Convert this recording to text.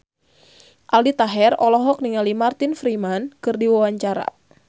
Aldi Taher olohok ningali Martin Freeman keur diwawancara